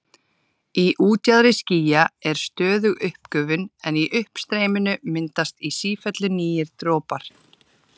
Í útjaðri skýja er stöðug uppgufun en í uppstreyminu myndast í sífellu nýir dropar.